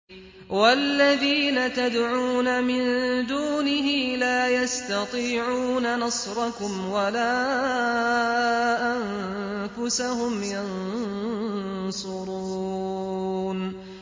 وَالَّذِينَ تَدْعُونَ مِن دُونِهِ لَا يَسْتَطِيعُونَ نَصْرَكُمْ وَلَا أَنفُسَهُمْ يَنصُرُونَ